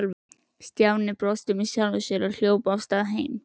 Stjáni brosti með sjálfum sér og hljóp af stað heim.